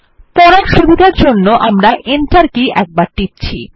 পড়ার সুবিধার জন্য আমরা Enter কী একবার টিপছি